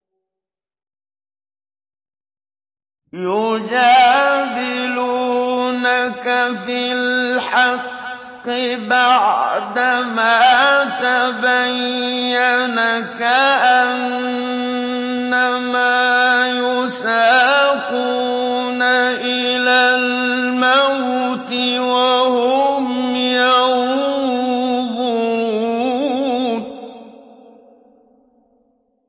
يُجَادِلُونَكَ فِي الْحَقِّ بَعْدَمَا تَبَيَّنَ كَأَنَّمَا يُسَاقُونَ إِلَى الْمَوْتِ وَهُمْ يَنظُرُونَ